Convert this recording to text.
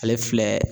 Ale filɛ